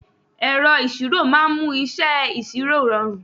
Ẹ̀rọ ìṣirò máa ń mú iṣẹ́ ìṣirò rọrùn.